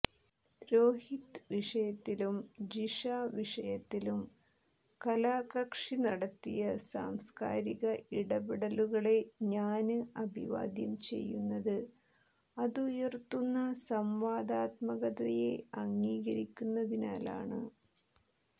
രോഹിത് വിഷയത്തിലും ജിഷ വിഷയത്തിലും കലാകക്ഷി നടത്തിയ സാംസ്കാരിക ഇടപെടലുകളെ ഞാന് അഭിവാദ്യം ചെയ്യുന്നത് അതുയര്ത്തുന്ന സംവാദാത്മകതയെ അംഗീകരിക്കുന്നതിനാലാണ്